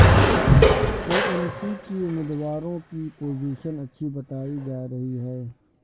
اے N P کی امیدواروں کی پوزیشن اچھی بتائی جا رہی ہے